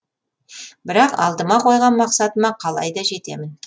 бірақ алдыма қойған мақсатыма қалайда жетемін